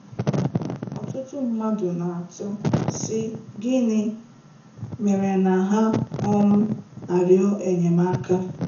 Ọtụtụ mmadụ na-atụ, sị: gịnị mere na ha um arịọ enyemaka.